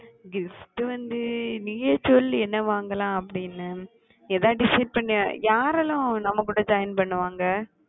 gift வந்து நீயே சொல்லு என்ன வாங்கலாம் அப்பிடின்னு ஏதாச்சு decide பண்ணியா யாரெல்லாம் நம்ம join கூட பண்ணுவாங்க